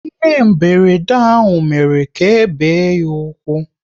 Ihe mberede ahụ mere ka ebe ya ụkwụ